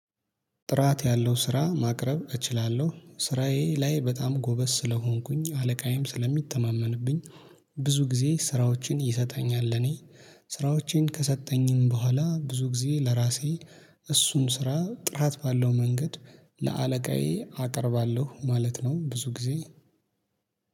ጥራት ያለው ስራ ማቅረብ እችላለሁ ስራዬ ላይ በጣም ጎበዝ ስለሆንኩኝ አለቃዬም ስለሚተማመንብኝ ብዙ ጊዜ ስራዎችን ይሰጠኛል። ለኔ ስራዎቼን ከሰጠኝም በኋላ ብዙ ጊዜ ለራሴ እሱን ስራ ጥራት ባለው መንገድ ለአለቃዬ አቀርባለሁ ማለት ነው። ብዙ ጊዜ